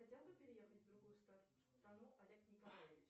хотел бы переехать в другую страну олег николаевич